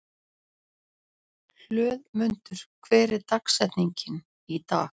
Hlöðmundur, hver er dagsetningin í dag?